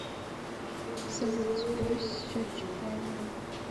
салют сбрось счетчик таймера